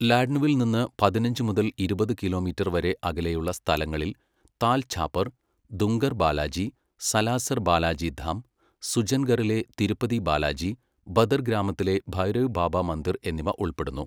ലാഡ്നുവിൽ നിന്ന് പതിനഞ്ച് മുതൽ ഇരുപത് കിലോമീറ്റർ വരെ അകലെയുള്ള സ്ഥലങ്ങളിൽ താൽ ഛാപ്പർ, ദുംഗർ ബാലാജി, സലാസർ ബാലാജി ധാം, സുജൻഗറിലെ തിരുപ്പതി ബാലാജി, ബദർ ഗ്രാമത്തിലെ ഭൈരവ് ബാബ മന്ദിർ എന്നിവ ഉൾപ്പെടുന്നു.